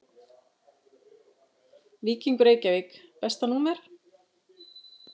Víkingur Reykjavík Besta númer?